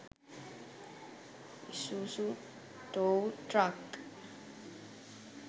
isuzu tow truck